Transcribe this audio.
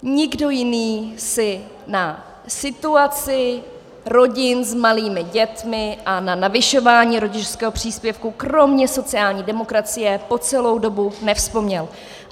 Nikdo jiný si na situaci rodin s malými dětmi a na navyšování rodičovského příspěvku kromě sociální demokracie po celou dobu nevzpomněl.